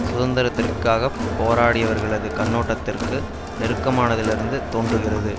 சுதந்திரத்திற்காகப் போராடியவர்களது கண்ணோட்டத்திற்கு நெருக்கமானதிலிருந்து தோன்றுகிறது